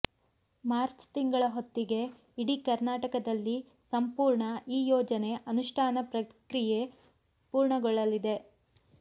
March ತಿಂಗಳ ಹೊತ್ತಿಗೆ ಇಡೀ ಕರ್ನಾಟಕದಲ್ಲಿ ಸಂಪೂರ್ಣ ಈ ಯೋಜನೆ ಅನುಷ್ಠಾನ ಪ್ರಕ್ರಿಯೆ ಪೂರ್ಣಗೊಳ್ಳಲಿದೆ